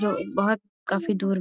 ये बहुत काफी दूर --